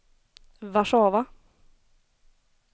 Warszawa